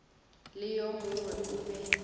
le yo mongwe o be